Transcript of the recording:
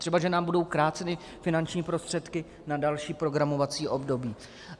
Třeba že nám budou kráceny finanční prostředky na další programovací období.